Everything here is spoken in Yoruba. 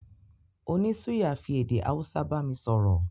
Oní suya fi èdè Hausa bámi sọ̀rọ̀